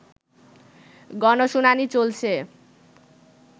গণশুনানি চলছে